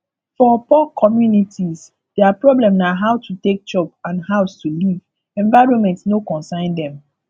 for poor communities their problem na how to take chop and house to live environment no consign them